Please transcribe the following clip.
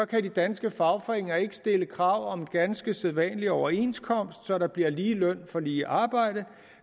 kan de danske fagforeninger ikke stille krav om en ganske sædvanlig overenskomst så der bliver lige løn for lige arbejde